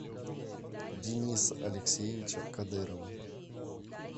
диниса алексеевича кадырова